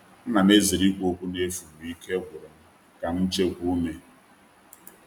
A na'm ezere ikwu okwu n’efu mgbe ike gwụrụ m ka m chekwaa ume.